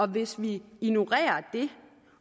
hvis vi ignorerer det